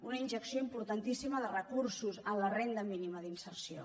una injecció importantíssima de recur·sos a la renda mínima d’inserció